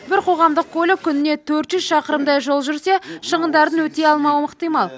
бір қоғамдық көлік күніне төрт жүз шақырымдай жол жүрсе шығындарын өтей алмауы ықтимал